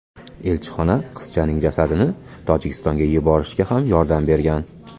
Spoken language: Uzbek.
Elchixona qizchaning jasadini Tojikistonga yuborishga ham yordam bergan.